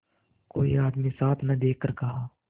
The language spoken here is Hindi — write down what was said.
कोई आदमी साथ न देखकर कहा